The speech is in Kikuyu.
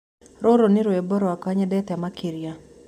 rũrũ ni rwĩmbo rwakwa nyendete makĩrĩa